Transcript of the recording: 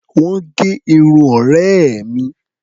Wọ́n gẹ irun ọ̀rẹ́ mi.